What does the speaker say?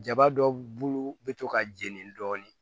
Jaba dɔw bulu be to ka jeni dɔɔni